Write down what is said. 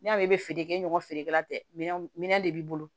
N y'a mɛn i bɛ feere kɛ i n'a feerekɛla tɛ minɛn minɛ de b'i bolo